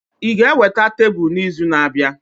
Ị ga-eweta tebụl n'izu na-abịa?